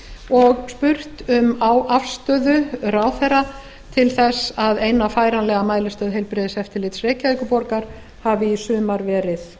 og spurt um afstöðu ráðherra til þess að eina færanlega mælistöð heilbrigðiseftirlits reykjavíkurborgar hafi í sumar verið